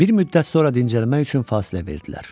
Bir müddət sonra dincəlmək üçün fasilə verdilər.